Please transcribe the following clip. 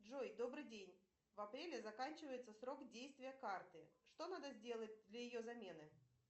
джой добрый день в апреле заканчивается срок действия карты что надо сделать для ее замены